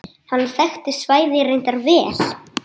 Hann þekkti svæðið reyndar vel.